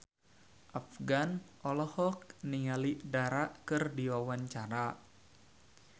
Afgan olohok ningali Dara keur diwawancara